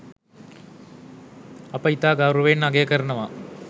අප ඉතා ගෞරවයෙන් අගය කරනවා